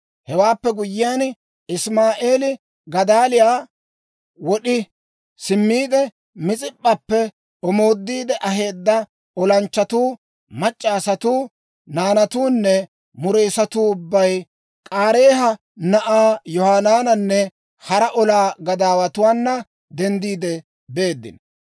Hewaappe guyyiyaan, Isimaa'eeli Gadaaliyaa wod'i simmiide, Mis'ip'p'appe omoodiide aheedda olanchchatuu, mac'c'a asatuu, naanatuunne mureessatuu ubbay K'aareeha na'aa Yohanaananne hara olaa gadaawatuwaana denddiide beeddino.